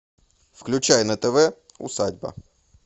включай на тв усадьба